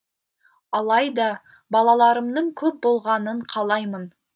алайда балаларымның көп болғанын қалаймын